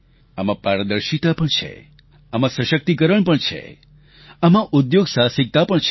આમાં પારદર્શિતા પણ છે આમાં સશક્તિકરણ પણ છે આમાં ઉદ્યોગસાહસિકતા પણ છે